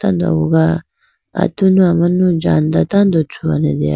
do aguga atunu amanu jhanda tando thruane deya.